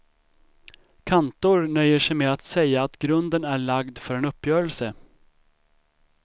Kantor nöjer sig med att säga att grunden är lagd för en uppgörelse.